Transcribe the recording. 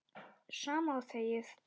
Sama og þegið!